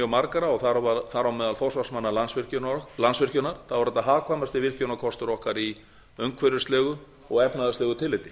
margra þar á meðal forsvarsmanna landsvirkjunar þá er þetta hagkvæmasti virkjunarkostur okkar í umhverfislegu og efnahagslegu tilliti